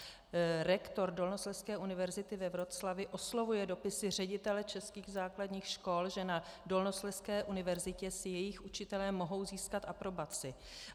Rektor Dolnoslezské univerzity ve Wroclawi oslovuje dopisy ředitele českých základních škol, že na Dolnoslezské univerzitě si jejich učitelé mohou získat aprobaci.